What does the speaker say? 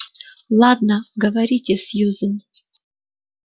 ладно говорите сьюзен